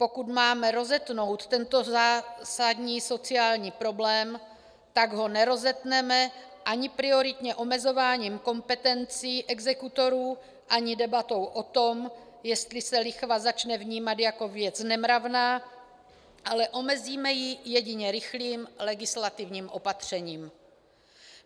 Pokud máme rozetnout tento zásadní sociální problém, tak ho nerozetneme ani prioritně omezováním kompetencí exekutorů, ani debatou o tom, jestli se lichva začne vnímat jako věc nemravná, ale omezíme ji jedině rychlým legislativním opatřením.